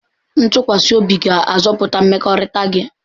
Ntụkwasị obi ga-azọpụta mmekọrịta gị.